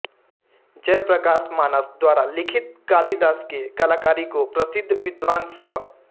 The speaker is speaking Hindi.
जयप्रकाश मानस द्वारा लिखित कलादास के कलाकारी को प्रसिद्ध विद्वान स्व